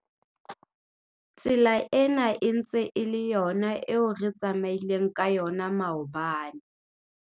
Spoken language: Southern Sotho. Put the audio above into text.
Tsela ena e ntse e le yona eo re tsamaileng ka yona maobane.